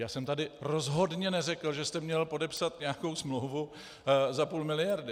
Já jsem tu rozhodne neřekl, že jste měl podepsat nějakou smlouvu za půl miliardy.